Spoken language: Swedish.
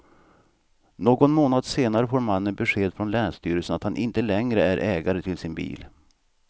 Någon månad senare får mannen besked från länsstyrelsen att han inte längre är ägare till sin bil.